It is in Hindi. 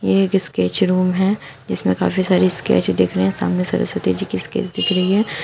एक स्केच रूम है जिसमें काफी सारे स्केच दिख रहे हैं सामने सरस्वती जी के स्केच दिख रही है।